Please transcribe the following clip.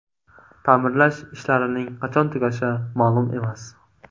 Ta’mirlash ishlarining qachon tugashi ma’lum emas.